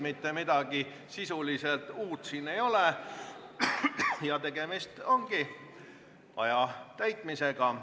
Mitte midagi sisuliselt uut neis ei ole ja tegemist ongi aja täitmisega.